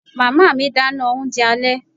Màmá mi dáná oúnjẹ alẹ́